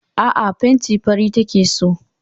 Aa, fenti fari take so